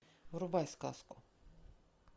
врубай сказку